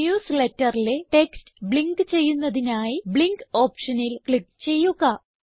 newsletterലെ text blink ചെയ്യുന്നതിനായി blink ഓപ്ഷനിൽ click ചെയ്യുക